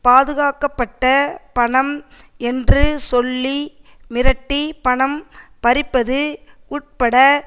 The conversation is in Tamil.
பாதுகாக்கப்பட்ட பணம் என்று சொல்லி மிரட்டி பணம் பறிப்பது உட்பட